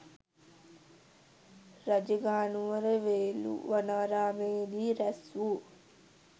රජගහනුවර වේළුවනාරාමයේ දී රැස් වූ